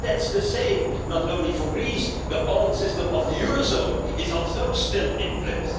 But the same is true not only for Greece the old system of the eurozone is also still in